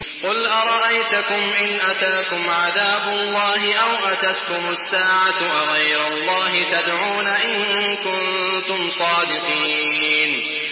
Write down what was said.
قُلْ أَرَأَيْتَكُمْ إِنْ أَتَاكُمْ عَذَابُ اللَّهِ أَوْ أَتَتْكُمُ السَّاعَةُ أَغَيْرَ اللَّهِ تَدْعُونَ إِن كُنتُمْ صَادِقِينَ